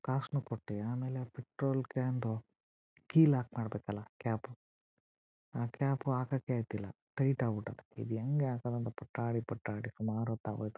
ಕಾಷ್ನು ಕೊಟ್ಟೆ ಆಮೇಲೆ petrol can ದು ಕೀ ಲಾಕ್ ಮಾಡಬೇಕಲ್ಲ ಕ್ಯಾಪ್ ಆ ಕ್ಯಾಪ್ ಹಾಕಕ್ಕೆ ಆಯೈತ್ತಿಲ್ಲಾ ಟೈಟ್ ಆಗಬಿಟ್ಟದ್ ಈದ್ ಹೆಂಗೆ ಹಾಕೋದು ಪಟ್ಟಾಡಿ ಪಟ್ಟಾಡಿ ಸುಮಾರು ಹೊತ್ತಾಗಿ ಹೋಯಿತು.